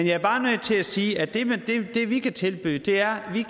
jeg er bare nødt til sige at det vi kan tilbyde er at vi